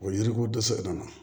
O yiri ko dɛsɛ nana